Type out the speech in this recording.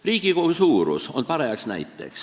Riigikogu suurus on paras näide.